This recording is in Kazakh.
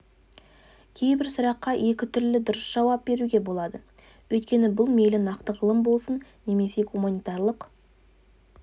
кейбір сұраққа екі түрлі дұрыс жауап беруге болады өйткені бұл мейлі нақты ғылым болсын немесе гуманитарлық